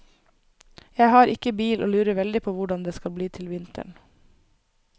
Jeg har ikke bil og lurer veldig på hvordan det skal bli til vinteren.